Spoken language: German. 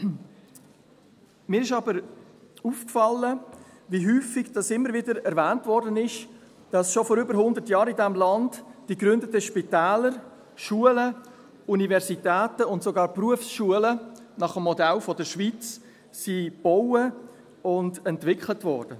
Mir ist aber aufgefallen, wie häufig immer wieder erwähnt wurde, dass schon vor über hundert Jahren in diesem Land die gegründeten Spitäler, Schulen, Universitäten und sogar Berufsschulen nach dem Modell der Schweiz gebaut und entwickelt wurden.